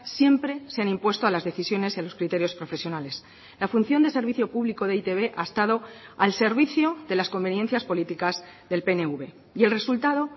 siempre se han impuesto a las decisiones y a los criterios profesionales la función de servicio público de e i te be ha estado al servicio de las conveniencias políticas del pnv y el resultado